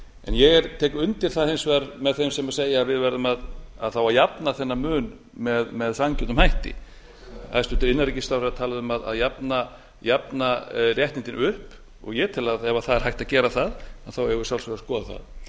ég tek hins vegar undir með þeim sem segja að við verðum þá að jafna þennan mun með sanngjörnum hætti hæstvirtur innanríkisráðherra talaði um að jafna réttindin upp og ég tel að ef hægt er að gera það eigum við að sjálfsögðu